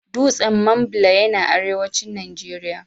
Dutsen Mambila yana arewacin Najeriya.